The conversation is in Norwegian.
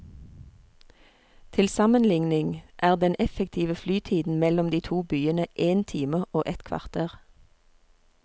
Til sammenligning er den effektive flytiden mellom de to byene én time og ett kvarter.